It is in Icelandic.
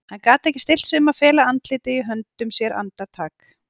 Hann gat ekki stillt sig um að fela andlitið í höndum sér andartak.